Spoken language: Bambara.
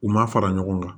U ma fara ɲɔgɔn kan